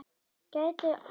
Gætu valdið skaða.